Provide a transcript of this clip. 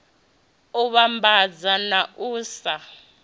u vhambadza na u sa